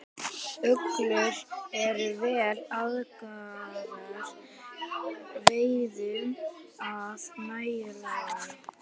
Uglur eru vel aðlagaðar veiðum að næturlagi.